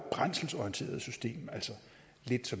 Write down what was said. brændselsorienteret system altså lidt